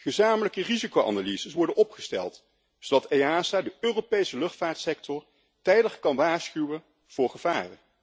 Gezamenlijke risicoanalyses worden opgesteld, zodat EASA de Europese luchtvaartsector tijdig kan waarschuwen voor gevaar.